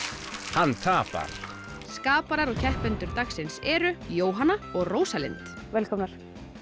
hann tapar skaparar og keppendur dagsins eru Jóhanna og Rósalind velkomnar